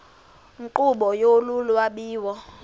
nkqubo yolu lwabiwo